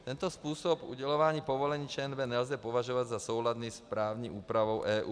Tento způsob udělování povolení ČNB nelze považovat za souladný s právní úpravou EU.